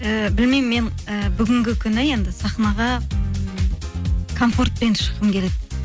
ііі білмеймін мен і бүгінгі күні енді сахнаға ммм комфортпен шыққым келеді